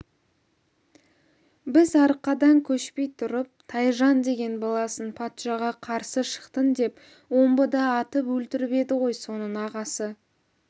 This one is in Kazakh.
біз арқадан көшпей тұрып тайжан деген баласын патшаға қарсы шықтың деп омбыда атып өлтіріп еді ғой соның ағасы